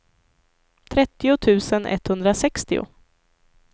trettio tusen etthundrasextio